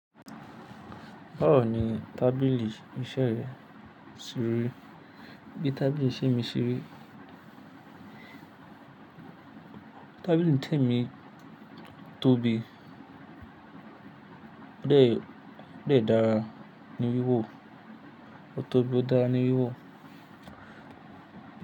Báwo ni tábìlì ìṣeré ṣeri? Bí tábìlì ìṣeré mi ṣeri, Tábìlì tẹ́mi tóbi. Ó dẹ̀, ó dẹ̀ dára ní wíwò, ó tóbi, ó dára ní wíwò.